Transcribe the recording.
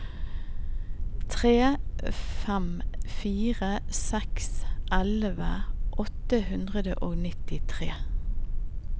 tre fem fire seks elleve åtte hundre og nittitre